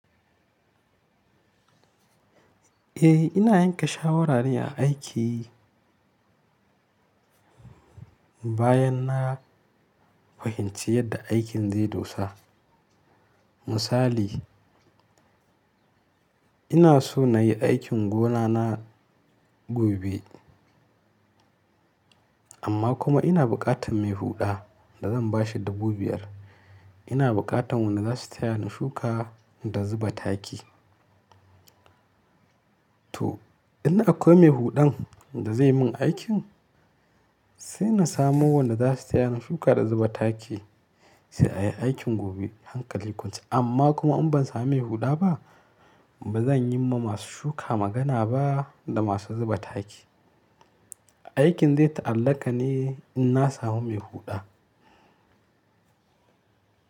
Eh ina yanke shawarare a aiki bayan na fahimci yadda aikin zai dosa. Misali, ina so na yi aikin gonana gobe amma kuma ina buƙatan mai huɗa da zan ba shi dubu biyar. Ina buƙatan wanda za su taya ni shuka da zuba taki. To in akwai mai huɗan da zai min aikin sai na samo wanda za su taya ni shuka da zuba taki sai a yi aikin gobe hankali kwance. Amma kuma in ban samu mai huɗa ba ba zan yi ma masu shuka magana ba da masu zuba taki. Aikin zai ta'allaka ne in na samu mai huɗa.